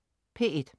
P1: